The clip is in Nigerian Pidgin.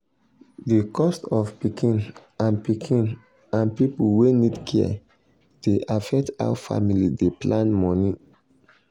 the cost of pikin and pikin and people wey need care dey affect how family dey plan money.